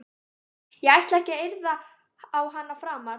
Ég ætla ekki að yrða á hana framar.